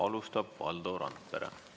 Alustab Valdo Randpere.